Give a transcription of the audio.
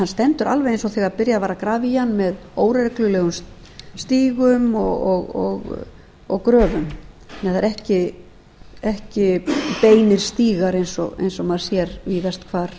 stendur alveg eins og þegar byrjað var að grafa í hann með óreglulegum stígum og gröfum það eru ekki beinir stígar eins og maður sér víðast hvar